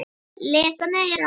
Lesa meira.